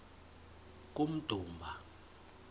kummdumba